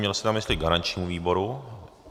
Měl jste na mysli garančnímu výboru.